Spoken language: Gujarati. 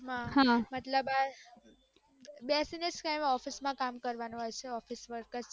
post માં મતલબ આ કાયમ બેસીને જ કામ કરવાનું હોય છે officetime માં